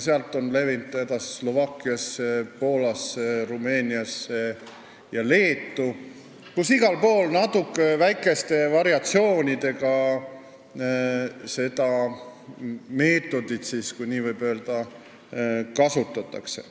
Sealt on see levinud Slovakkiasse, Poolasse, Rumeeniasse ja Leetu, kus igal pool seda meetodit, kui nii võib öelda, väikeste variatsioonidega kasutatakse.